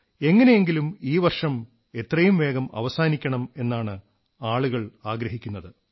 എങ്ങനെയെങ്കിലും ഈ വർഷം എത്രയും വേഗം അവസാനിക്കണം എന്നാണ് ആളുകൾ ആഗ്രഹിക്കുന്നത്